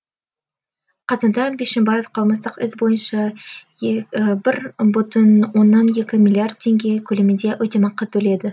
қазанда бишімбаев қылмыстық іс бойынша бір бүтін оннан екі миллиард теңге көлемінде өтемақы төледі